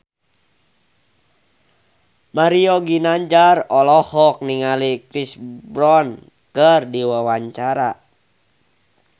Mario Ginanjar olohok ningali Chris Brown keur diwawancara